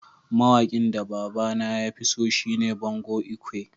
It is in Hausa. Mawakin da baba na ya fi so shine Bongo lkwe.